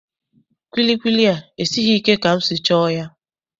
Kwilikwili a esighị ike ka m si chọọ ya.